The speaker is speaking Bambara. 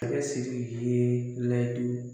Masakɛ SIRIKI ye layidu